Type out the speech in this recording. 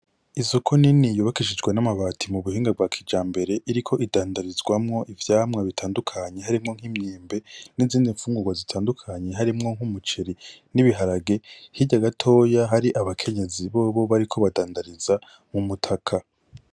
Isoko nini yubakishishijewe n’amabati mubuhinga bwa kijambere , Iriko idandarizwamwo ivyamwa bitandukanye harimwo nk’imyembe nizindi mfungurwa zitandukanye harimwo nk’umuceri n’ibiharage , hirya gatoyi hari Abakenyezi bobo Bariko Badandandariza mumutaka .